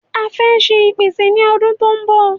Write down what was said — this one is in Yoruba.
A fẹ́ ṣe ipese ni ọdún tó n bọ